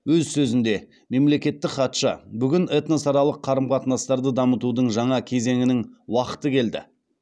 өз сөзінде мемлекеттік хатшы бүгін этносаралық қарым қатынастарды дамытудың жаңа кезеңінің уақыты келді